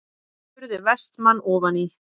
spurði Vestmann ofan í.